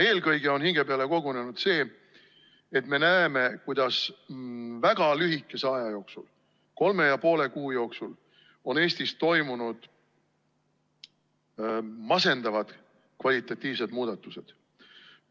Eelkõige on hinge peale kogunenud see, et me näeme, kuidas väga lühikese aja jooksul, kolme ja poole kuu jooksul on Eestis toimunud masendavad kvalitatiivsed muutused.